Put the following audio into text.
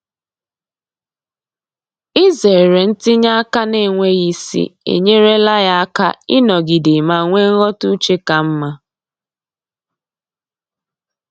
Izere ntinye aka n'enweghị isi enyerela ya aka ịnọgide ma nwee nghọta uche ka mma.